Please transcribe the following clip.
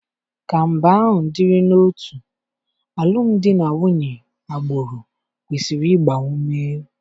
Ka mba ahụ dịrị n'otu, alụmdi na nwunye agbụrụ kwesịrị ịgba ume.